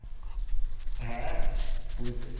হ্যাঁ হ্যাঁ full safe